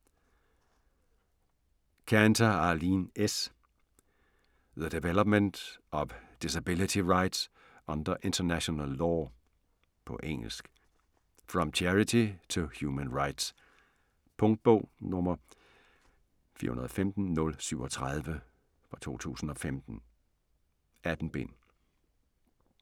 Kanter, Arlene S.: The development of disability rights under international law På engelsk. From charity to human rights. Punktbog 415037 2015. 18 bind.